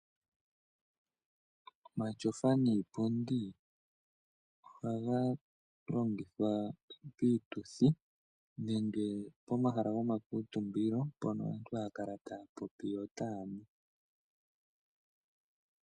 Omatyofa niipundi ohaga longithwa piituthi nenge pomahala gomangundumano mpono aantu haya kala taya popi yo taa nu.